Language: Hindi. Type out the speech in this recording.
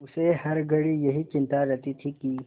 उसे हर घड़ी यही चिंता रहती थी कि